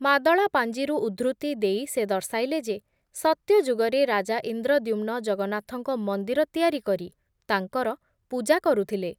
ମାଦଳାପାଂଜିରୁ ଉଦ୍ଧୃତି ଦେଇ ସେ ଦର୍ଶାଇଲେ ଯେ, ସତ୍ୟ ଯୁଗରେ ରାଜା ଇନ୍ଦ୍ରଦ୍ୟୁମ୍ନ ଜଗନ୍ନାଥଙ୍କ ମନ୍ଦିର ତିଆରି କରି ତାଙ୍କର ପୂଜା କରୁଥିଲେ ।